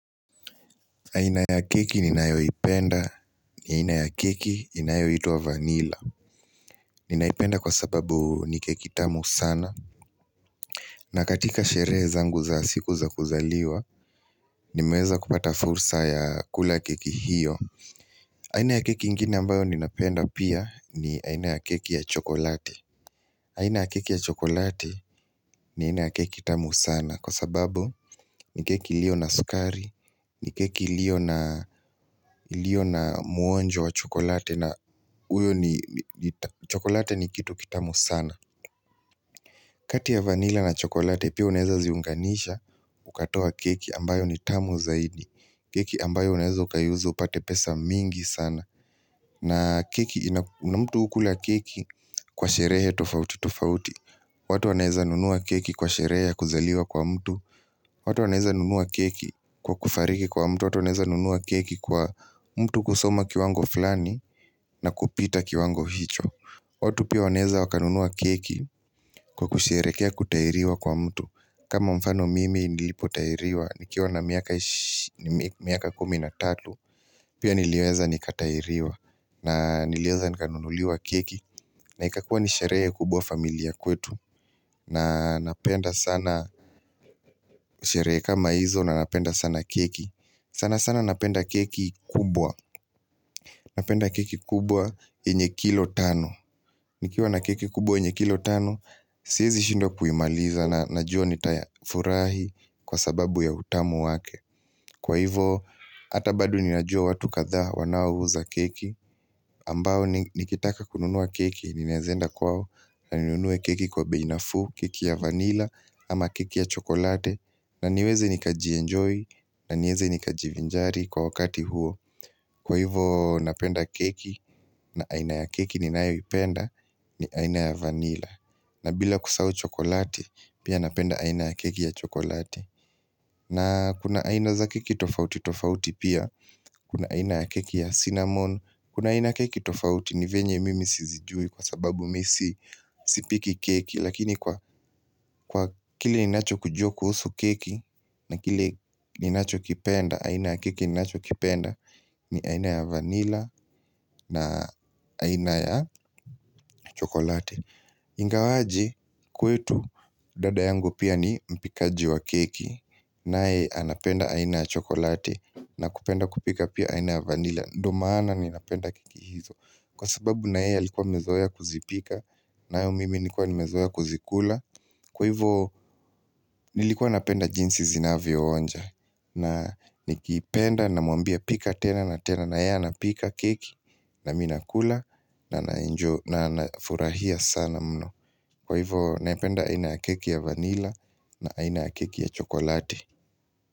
Aina ya keki ninayoipenda ni aina ya keki inayoitwa vanilla Ninaipenda kwa sababu ni keki tamu sana na katika sherehe zangu za siku za kuzaliwa nimeweza kupata fursa ya kula keki hiyo aina ya keki ingine ambayo ninapenda pia ni aina ya keki ya chokolati aina ya keki ya chokolati ni aina ya keki tamu sana Kwa sababu ni keki ilio na sukari, ni keki ilio na mwonjo wa chokolati na uyo ni chokolati ni kitu kitamu sana kati ya vanilla na chokolati pia unaweza ziunganisha ukatoa keki ambayo ni tamu zaidi keki ambayo unaweza ukaiuza upate pesa mingi sana na keki, na mtu hukula keki kwa sherehe tofauti tofauti watu wanaweza nunua keki kwa sherehe ya kuzaliwa kwa mtu watu wanaweza nunua keki kwa kufariki kwa mtu, watu wanaweza nunua keki kwa mtu kusoma kiwango fulani na kupita kiwango hicho watu pia wanaweza wakanunua keki kwa kusherekea kutahiriwa kwa mtu kama mfano mimi nilipo tahiriwa, nikiwa na miaka 13, pia niliweza nikatahiriwa na niliweza nikanunuliwa keki na ikakuwa nisherehe kubwa familia kwetu na napenda sana Sherehe kama hizo na napenda sana keki sana sana napenda keki kubwa Napenda keki kubwa yenye kilo tano nikiwa na keki kubwa enye kilo tano Siwezi shindwa kuimaliza na najua nitayafurahi Kwa sababu ya utamu wake Kwa hivyo hata bado ninajua watu kadhaa wanao uza keki ambao nikitaka kununua keki Ninaweza enda kwao na ni nunue keki kwa bei nafu, keki ya vanilla ama keki ya chokolati na niweze nika ji-enjoy na nieze nikajivinjari kwa wakati huo Kwa hivyo napenda keki na aina ya keki ninayoipenda ni aina ya vanila na bila kusahau chokolati pia napenda aina ya keki ya chokolati na kuna aina za keki tofauti tofauti pia Kuna aina ya keki ya cinnamon Kuna aina keki tofauti ni vyenye mimi sizijui kwa sababu mimi si Sipiki keki lakini kwa kwa kile ninacho kijua kuhusu keki na kile ninacho kipenda aina ya keki ninacho kipenda ni aina ya vanilla na aina ya chokolati Ingawaje kwetu dada yangu pia ni mpikaji wa keki naye anapenda aina ya chokolati na kupenda kupika pia aina ya vanilla Ndio maana ninanapenda keki hizo Kwa sababu na yeye alikuwa amezoea kuzipika nayo mimi nilikuwa nimezoea kuzikula Kwa hivyo nilikuwa napenda jinsi zinavyo onja na nikipenda na mwambia pika tena na tena na yeye anapika keki nami nakula na na furahia sana mno Kwa hivyo naipenda aina ya keki ya vanilla na aina ya keki ya chokolati.